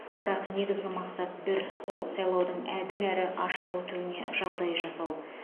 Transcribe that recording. бірақ негізгі мақсат бір ол сайлаудың әділ әрі ашық өтуіне жағдай жасау